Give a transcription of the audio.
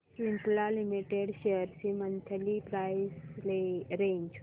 Cipla limited shares ची monthly price range